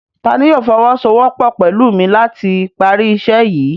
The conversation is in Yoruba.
Tani yóò fọwọsowọpọ pẹlu mi lati pari iṣẹ yii?